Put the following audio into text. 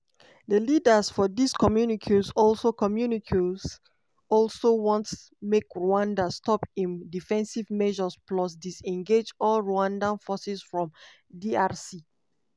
di leaders for dis communiques also communiques also want make rwanda stop im defensive measures plus disengage all rwanda forces from drc.